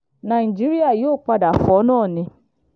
nàìjíríà yóò padà fọ́ náà ni